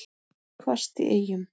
Hvasst í Eyjum